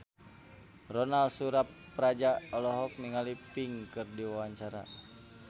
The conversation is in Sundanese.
Ronal Surapradja olohok ningali Pink keur diwawancara